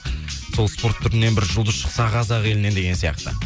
сол спорт түрінен бір жұлдыз шықса қазақ елінен деген сияқты